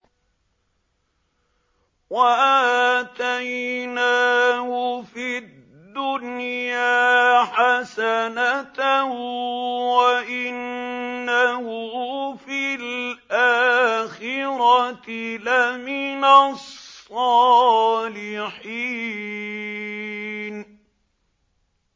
وَآتَيْنَاهُ فِي الدُّنْيَا حَسَنَةً ۖ وَإِنَّهُ فِي الْآخِرَةِ لَمِنَ الصَّالِحِينَ